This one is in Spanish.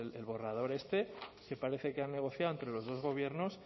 el borrador este que parece que han negociado entre los dos gobiernos